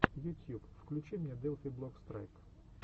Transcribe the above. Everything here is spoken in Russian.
ютьюб включи мне делфи блок страйк